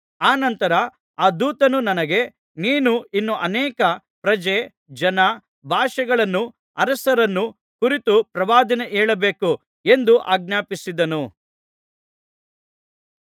ಅನಂತರ ಆ ದೂತನು ನನಗೆ ನೀನು ಇನ್ನೂ ಅನೇಕ ಪ್ರಜೆ ಜನ ಭಾಷೆಗಳನ್ನೂ ಅರಸರನ್ನೂ ಕುರಿತು ಪ್ರವಾದನೆ ಹೇಳಬೇಕು ಎಂದು ಆಜ್ಞಾಪಿಸಿದನು